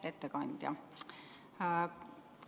Hea ettekandja!